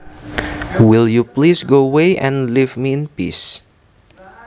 Will you please go away and leave me in peace